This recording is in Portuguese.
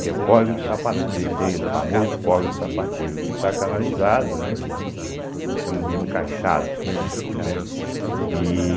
que é o Córrego do Sapate teiro, o famoso Córrego do Sapateiro, que está canalizado, né, eu chamo de encaixado, né, entende?